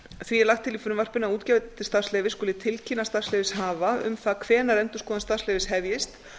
því er lagt til í frumvarpinu að útgefandi starfsleyfis skuli tilkynna starfsleyfishafa um það hvenær endurskoðun starfsleyfis hefjist